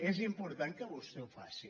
és important que vostè ho faci